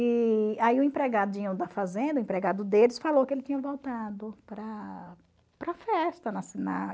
E aí o empregadinho da fazenda, o empregado deles, falou que ele tinha voltado para a para a festa